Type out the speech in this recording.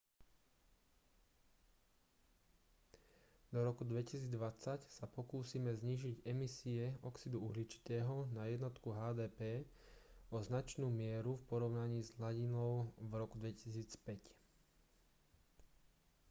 do roku 2020 sa pokúsime znížiť emisie oxidu uhličitého na jednotku hdp o značnú mieru v porovnaní s hladinou v roku 2005